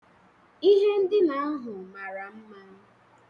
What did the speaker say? Ihe ndina ahụ mara mma